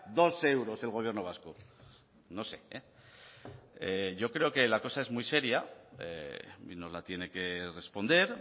dos euros el gobierno vasco no sé yo creo que la cosa es muy seria nos la tiene que responder